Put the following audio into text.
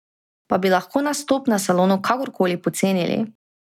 Pa bi lahko nastop na salonu kakorkoli pocenili?